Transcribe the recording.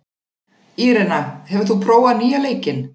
Írena, hefur þú prófað nýja leikinn?